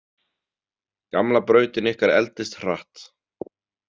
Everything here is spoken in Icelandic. Gamla brautin ykkar eldist hratt.